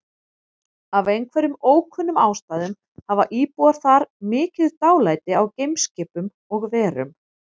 Af einhverjum ókunnum ástæðum hafa íbúar þar mikið dálæti á geimskipum og-verum.